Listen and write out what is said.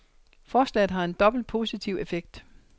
Forslaget har en dobbelt positiv effekt.